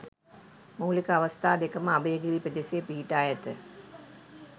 මූලික අවස්ථා දෙකම අභයගිරි පෙදෙසේ පිහිටා ඇත.